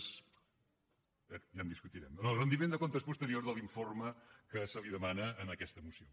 bé ja ho discutirem en el rendiment de comptes posterior de l’informe que se li demana en aquesta moció